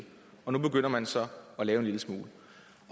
nu begynder man så at lave en lille smule